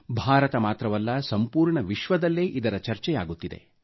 ಭಾರತ ಮಾತ್ರವಲ್ಲ ಸಂಪೂರ್ಣ ವಿಶ್ವದಲ್ಲೇ ಇದರ ಚರ್ಚೆಯಾಗುತ್ತಿದೆ